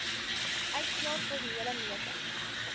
uitslae formele metings